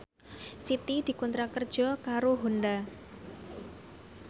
Siti dikontrak kerja karo Honda